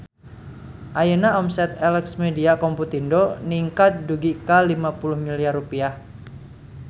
Ayeuna omset Elex Media Komputindo ningkat dugi ka 50 miliar rupiah